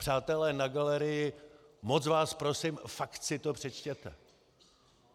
Přátelé na galerii, moc vás prosím, fakt si to přečtěte.